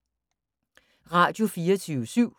Radio24syv